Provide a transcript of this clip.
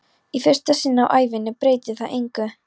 Í fyrsta sinn á ævinni breytir það engu.